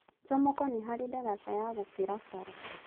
Jomoko nĩ harĩ ndaraca ya gũkĩra bara.